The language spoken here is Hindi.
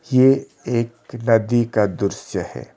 ये एक नदी का दृश्य है।